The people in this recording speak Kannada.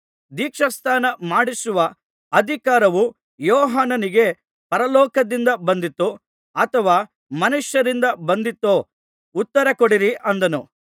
ದೀಕ್ಷಾಸ್ನಾನ ಮಾಡಿಸುವ ಅಧಿಕಾರವು ಯೋಹಾನನಿಗೆ ಪರಲೋಕದಿಂದ ಬಂದಿತೋ ಅಥವಾ ಮನುಷ್ಯರಿಂದ ಬಂದಿತೋ ಉತ್ತರಕೊಡಿರಿ ಅಂದನು